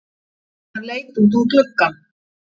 Hann leit út um gluggann.